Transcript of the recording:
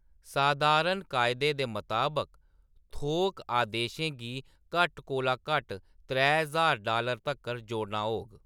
सधारण कायदे दे मताबक थोक अदेशें गी घट्ट कोला घट्ट त्रै ज्हार डालर तक्कर जोड़ना होग।